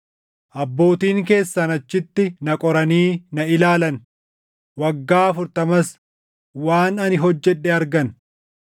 abbootiin keessan achitti na qoranii na ilaalan; waggaa afurtamas waan ani hojjedhe argan.